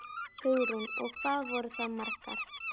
Hugrún: Og hvað voru það margar?